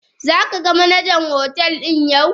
Zaka ga Manajan hotel din yau.?